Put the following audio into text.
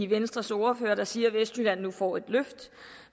venstres ordfører der siger at vestjylland nu får et løft